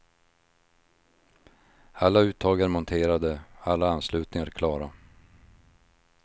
Alla uttag är monterade, alla anslutningar klara.